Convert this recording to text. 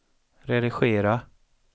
redigera